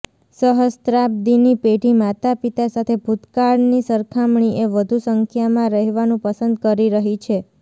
સહસ્ત્રાબ્દીની પેઢી માતાપિતા સાથે ભૂતકાળની સરખામણીએ વધુ સંખ્યામાં રહેવાનું પસંદ કરી રહી છે